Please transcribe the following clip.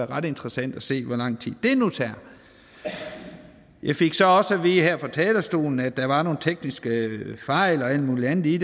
ret interessant at se hvor lang tid det nu tager jeg fik så også at vide her fra talerstolen at der var nogle tekniske fejl og alt mulig andet i